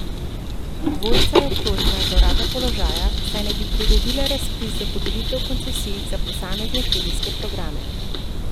Dvojica je obtožena zlorabe položaja, saj naj bi priredila razpis za podelitev koncesij za posamezne študijske programe.